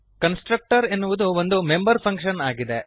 constructor ಎನ್ನುವುದು ಒಂದು member function ಆಗಿದೆ